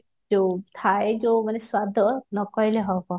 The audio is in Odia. ଯୋଉ ଥାଏ ଯୋଉ ମାନେ ସ୍ଵାଦ ନକହିଲେ ହବ